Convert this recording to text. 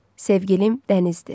Sevgilim dənizdir.